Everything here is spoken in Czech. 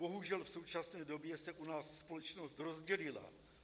Bohužel, v současné době se u nás společnost rozdělila.